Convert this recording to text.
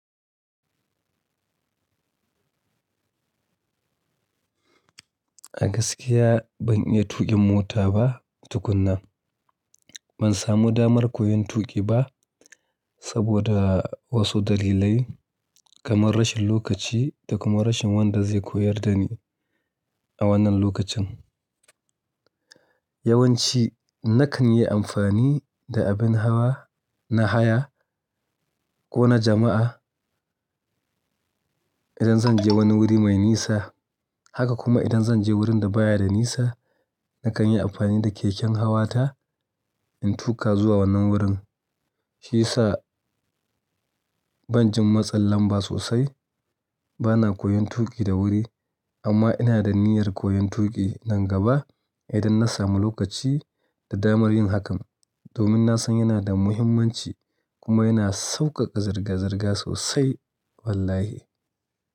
A gaskiya ban iya tuƙin mota ba tukuna. Ban samu damar koyon tuƙi ba saboda wasu dalilai kamar rashin lokaci da kuma rashin wanda zai koyar da ni a wannan lokacin. Yawanci nakan yi amfani da abin hawa na haya ko na jama'a idan zan je wani wuri mai nisa. Haka kuma idan zan je wurin da baya da nisa nakan yi amfani da keken hawa ta in tuƙa zuwa wannan wurin. Shiyasa ban jin matsalan ba sosai bana koyon tuƙi da wuri amma ina da niyyar koyon tuƙi nan gaba idan na samu lokaci da damar yin hakan domin na san yana da muhimmanci kuma yana sauƙaƙa zirga-zirga sosai wallahi.